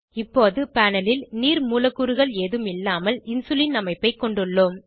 இப்போது பேனல் ல் நீர் மூலக்கூறுகள் ஏதும் இல்லாமல் இன்சுலின் அமைப்பை கொண்டுள்ளோம்